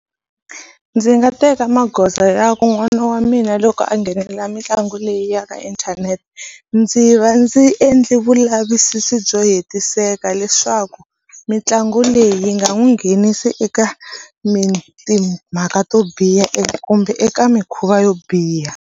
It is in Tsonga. Ndzi nga teka magoza ya ku n'wana wa mina loko a nghenelela mitlangu leyi ya ka inthanete ndzi va ndzi endle vulavisisi byo hetiseka leswaku mitlangu leyi yi nga n'wi nghenisi eka timhaka to biha kumbe eka mikhuva yo biha.